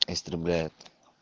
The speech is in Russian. истребляют